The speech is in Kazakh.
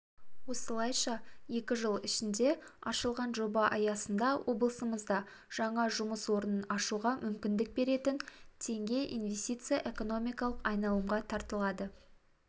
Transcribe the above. осылайша екі жыл ішінде ашылған жоба аясында облысымызда жаңа жұмыс орнын ашуға мүмкіндік беретін теңге инвестиция экономикалық айналымға тартылады